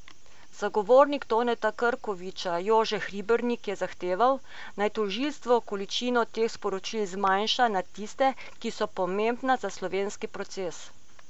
Zagovornik Toneta Krkoviča Jože Hribernik je zahteval, naj tožilstvo količino teh sporočil zmanjša na tiste, ki so pomembna za slovenski proces.